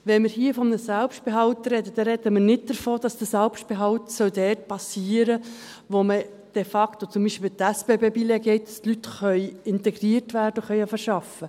Wenn wir hier von einem Selbstbehalt sprechen, dann sprechen wir nicht davon, dass der Selbstbehalt dort geschehen soll, wo de facto die Leute integriert werden und beginnen können zu arbeiten, beispielsweise gibt es die SBB-Billette.